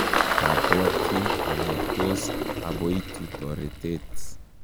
kabwoti ale tos aboitu toretet